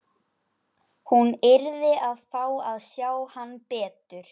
Hún yrði að fá að sjá hann betur.